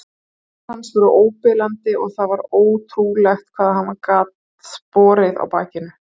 Fætur hans voru óbilandi og það var ótrúlegt hvað hann gat borið á bakinu.